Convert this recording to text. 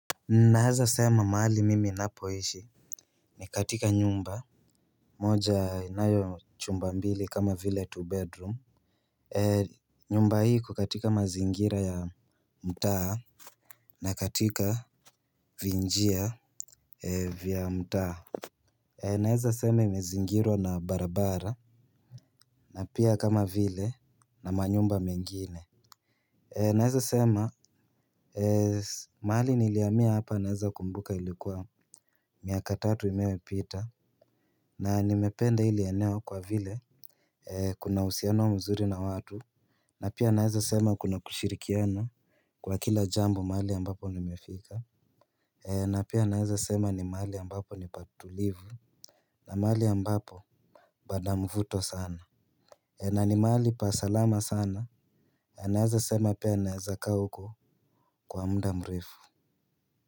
Nawezasema mahali mimi ninapoishi. Ni katika nyumba moja inayo chumba mbili kama vile two bedroom. Nyumba hii iko katika mazingira ya mtaa. Na katika vinjia vya mtaa ninawezasema imezingirwa na barabara na pia kama vile na manyumba mengine. Ninawezasema mahali nilihamia hapa nawezakumbuka ilikuwa miaka tatu iliyopita. Na nimependa hili eneo kwa vile kuna uhusiano mzuri na watu. Na pia nawezasema kuna kushirikiana kwa kila jambo mahali ambapo nimefika. Na pia nawezasema ni mahali ambapo ni patulivu. Na mahali ambapo pana mvuto sana. Na ni mahali pa salama sana. Na naweza sema pia naweza kaa huko kwa muda mrefu.